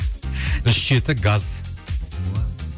үш жеті газ